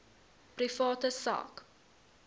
private sak